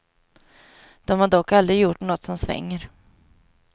De har dock aldrig gjort något som svänger.